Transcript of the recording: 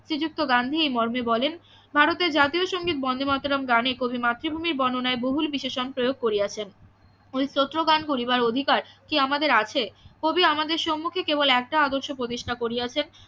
শ্রীযুক্ত গান্ধী এ মর্মে বলেন ভারত এর জাতীয় সঙ্গীত বন্দেমাতরম গানে কবি মাতৃ ভূমির বর্ণনায় বহুল বিশেষণ প্রয়োগ করিয়াছেন ওই স্তোত্র পান করিবার অধিকার কি আমাদের আছে কবি আমাদের সম্মুখে কেবল একটা আদর্শে প্রতিষ্ঠা করিয়াছে